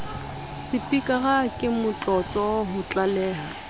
sepikara ke motlotlo ho tlaleha